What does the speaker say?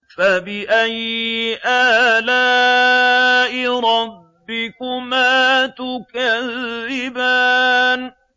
فَبِأَيِّ آلَاءِ رَبِّكُمَا تُكَذِّبَانِ